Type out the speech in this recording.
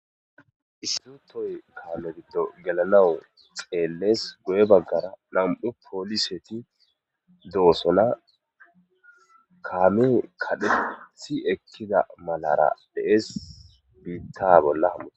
Issutoy kaame biddo gelanawu xeellees goye baggara nam'u pooliseti doosona kaame kadhe si ekkida malara dhees biitta bolla hammute.